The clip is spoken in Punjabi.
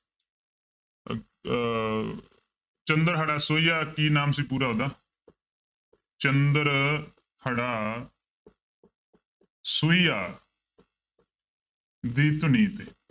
ਅਹ ਚੰਦ੍ਰਹੜਾ ਸੋਹੀਆ ਕੀ ਨਾਮ ਸੀ ਪੂਰਾ ਉਹਦਾ ਚੰਦ੍ਰਹੜਾ ਸੋਹੀਆ ਦੀ ਧੁਨੀ ਤੇ